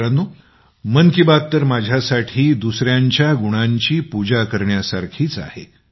मित्रांनो मन की बात तर माझ्यासाठी दुसऱ्यांच्या गुणांची पूजा करण्यासारखीच आहे